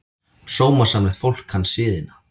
Sómasamlegt fólk kann siðina.